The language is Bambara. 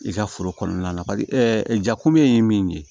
I ka foro kɔnɔna na jakumuni ye min ye